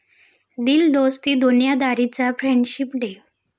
दिल दोस्ती दुनियादारी'चा friendship day